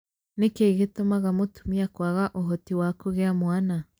Nĩkĩ gĩtũmaga mũtumia kwaga ũhoti wa kũgĩa mwana?